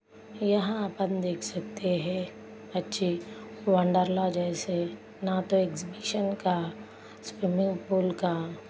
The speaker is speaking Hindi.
यहा आपन देख सकते है। बच्चे वंडर ला जैसे ना तो एक्सहिबिशन का स्विमिंग पूल का --